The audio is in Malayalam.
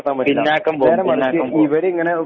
പിന്നാക്കം പോവും പിന്നാക്കം പോവും